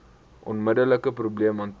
onmiddelike probleem hanteer